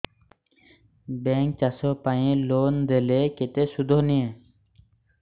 bank ଚାଷ ପାଇଁ loan ଦେଲେ କେତେ ସୁଧ ନିଏ